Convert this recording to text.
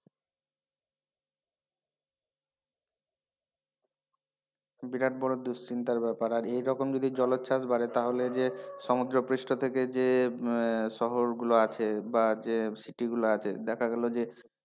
বিরাট বড় দুশ্চিন্তার ব্যাপার আর এরকম যদি জলোচ্ছ্বাস বাড়ে তাহলে যে সমুদ্রপৃষ্ঠ থেকে যে আহ শহর গুলো আছে বা যে city গুলো আছে দেখা গেল যে,